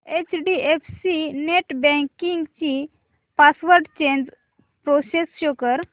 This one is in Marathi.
एचडीएफसी नेटबँकिंग ची पासवर्ड चेंज प्रोसेस शो कर